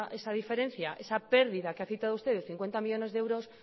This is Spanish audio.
esa diferencia esa pérdida que ha citado usted de cincuenta millónes de euros